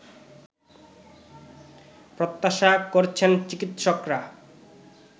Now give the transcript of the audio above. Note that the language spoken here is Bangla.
প্রত্যাশা করছেন চিকিৎসকরা